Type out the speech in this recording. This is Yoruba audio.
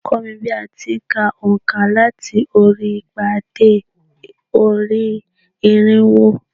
Kọ́ mi bí a ti n ka ònkà láti orí igba dé orí irínwó